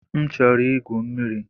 M chọrọ igwu mmiri.